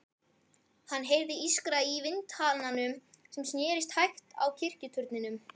Hann heyrði ískra í vindhananum sem snerist hægt á kirkjuturninum.